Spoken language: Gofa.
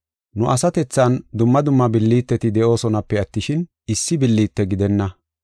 Nu asatethan dumma dumma billiteti de7oosonape attishin, issi billite gidenna.